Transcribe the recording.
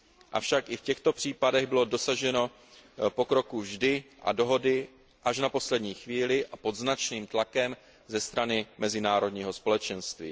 Avšak i v těchto případech bylo dosaženo pokroku vždy a dohody až na poslední chvíli a pod značným tlakem ze strany mezinárodního společenství.